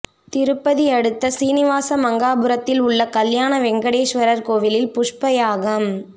திருப்பதி அடுத்த சீனிவாசமங்காபுரத்தில் உள்ள கல்யாண வெங்கடேஸ்வரர் கோயிலில் புஷ்ப யாகம்